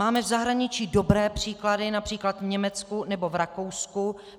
Máme v zahraničí dobré příklady, například v Německu nebo v Rakousku.